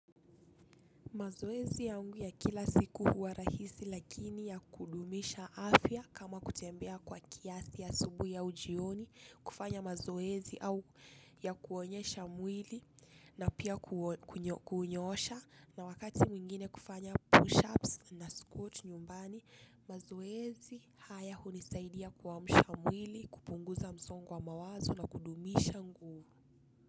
Mazoezi yangu ya kila siku huwa rahisi lakini ya kudumisha afya kama kutembea kwa kiasi ya asubuhi au jioni, kufanya mazoezi au ya kuonyesha mwili na pia kunyoosha na wakati mwingine kufanya pushups na squat nyumbani, mazoezi haya hunisaidia kuamsha mwili, kupunguza msongo wa mawazo na kudumisha nguvu.